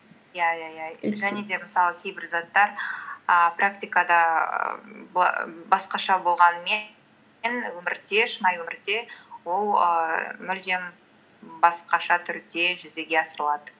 иә иә иә және де мысалы кейбір заттар ііі практикада басқаша болғанымен шынайы өмірде ол ііі мүлдем басқаша түрде жүзеге асырылады